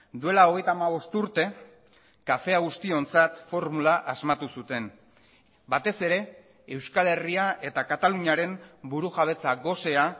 duela hogeita hamabost urte kafea guztiontzat formula asmatu zuten batez ere euskal herria eta kataluniaren burujabetza gosea